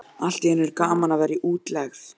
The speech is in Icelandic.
Allt í einu er gaman að vera í útlegð.